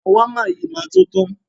Ṣàwámà yìí máa to tán.